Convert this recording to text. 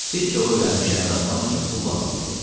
Pis yola öyrənmiş Əmiraslan üçün pul lazım idi.